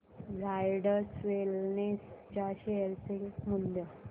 Zydus wellness च्या share चे मूल्य